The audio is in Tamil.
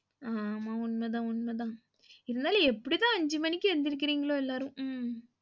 ஆமா உண்மதான் உண்மதான் இருந்தாலும் எப்படிதான் அஞ்சு மணிக்கு எந்திரிக்குறீங்ளோ எல்லாரும் உம்